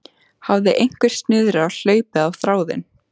Hafði einhver snurða hlaupið á þráðinn?